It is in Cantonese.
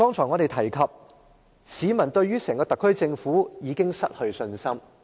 我剛才說市民對於特區政府已經失去信心。